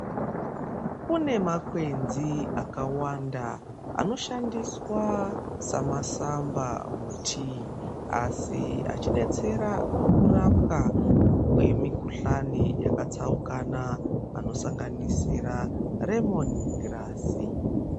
Kune makwenzi akawanda anoshandiswa semasampha muthii, asi echidetsera mukurapwa kwemikhuhlani yakatsaukana. Anosanganisira remoni girasi.